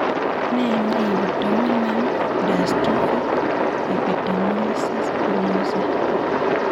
Nee neibu dominant dystrophic epidermolysis bullosa